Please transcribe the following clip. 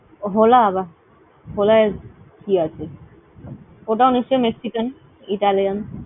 Hola আবা। Hola য় কী আছে? অতাও নিশ্চয়ই Mexican, Italian